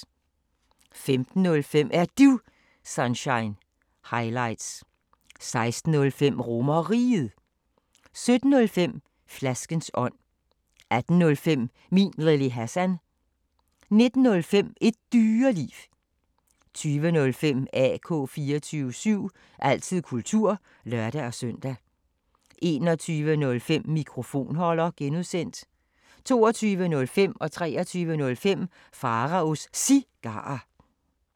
15:05: Er Du Sunshine – highlights 16:05: RomerRiget 17:05: Flaskens ånd 18:05: Min Lille Hassan 19:05: Et Dyreliv 20:05: AK 24syv – altid kultur (lør-søn) 21:05: Mikrofonholder (G) 22:05: Pharaos Cigarer 23:05: Pharaos Cigarer